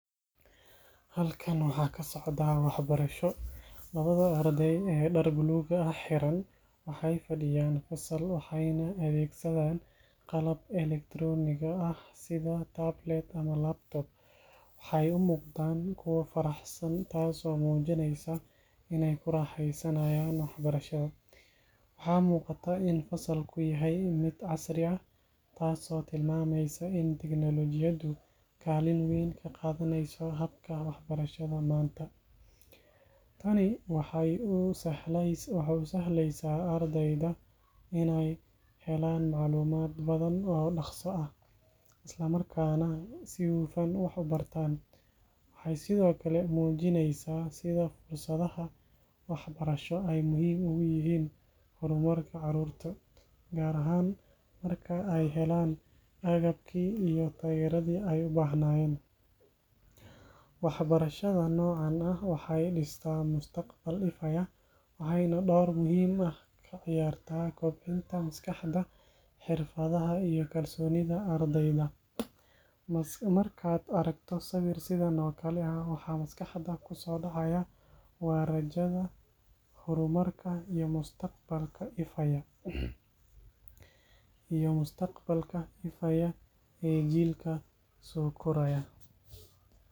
Halkan waxa kasocdah waxbarasho , lawada aradey ee dar buluga xeeran waxay fadiyannfasalo waxay adesadan qalab electronic eeh setha tabletorlaptop waxay u muqdah kuwa faraxsan taaso mujineysoh inay kuraxeysanayan waxbarashada, waxamuqatah in fasalku oo yahay mid casri aah taaso timameysah in technology kalan weyn kaqathaneysaoh habka waxbarshada manta, taani waxay u sahleysah ardeyda inay helan macalumat bathan oo daqso aah Isla markana si hufan wax u bartan, waxasthokali mujineysah fursadaha waxbarashada aay muhim ugu yahin hormarka caruurta kaar ahaan markay aay helan agabki iyo beredi ay u bahnayen waxbarshada nocan aah waxay distah mustaqbal ifaayah waxaynah door muhim kaciyarah kabcinta masqaxdahbxerfada iyo kalsonida ardeyda, markat aragtoh sawir sethan oo kali waxa masqaxda kusodacaya warajada hurmarka iyo mustaqbalka ifaaya iyo mustaqbalka ifaya iyo jeelka sokoraya.